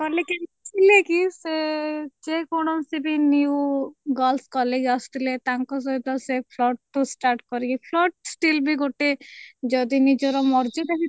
କଲେ କିଛି ନାଇଁ କି ସେ ଯେ କୌଣସି ବି new girls college ଆସୁଥିଲେ ତାଙ୍କ ସହିତ ସିଏ flaut ଠୁ start କରିକି flaut still ବି ଗୋଟେ ଯଦି ନିଜର ମର୍ଯ୍ୟାଦା ଭିତ